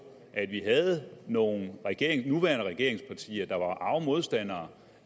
at vi havde nogle nuværende regeringspartier der var arge modstandere